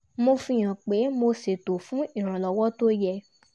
mo fi hàn pé mo ṣètò fún iranlọwọ t’ó yẹ